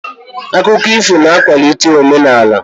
Akụkọ ifo na-akwalite omenaala.